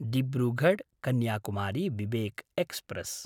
डिब्रुगढ्–कन्याकुमारी Vivek express